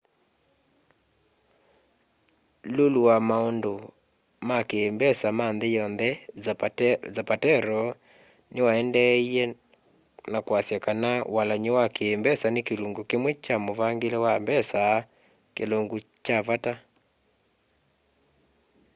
lulu wa maundu ma ki mbesa ma nthi yonthe zapatero niwaendeeie ka kwiasya kana walany'o wa ki mbesa ni kilungu kimwe kya muvangile wa mbesa kilungu kya vata